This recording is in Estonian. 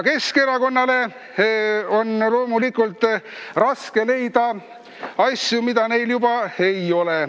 Keskerakonnale on loomulikult raske leida asju, mida neil juba ei ole.